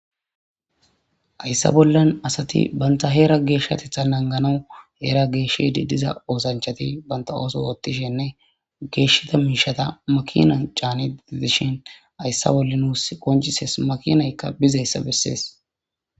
Ayssa bollan asati banta heera geeshshatitha langanawu heera geeshshedi diza oosanchati banta ooso woottishenne geeshshata miishata makina caani didishin ayssa bolla nuus qoncises makinaykka bizayssa bessees.